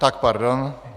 Tak pardon.